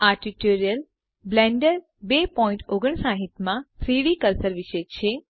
આ tutorial blender 259 માં 3ડી કર્સર વિશે છે